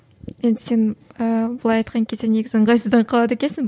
енді сен ыыы былай айтқан кезде негізі ыңғайсызданып қалады екенсің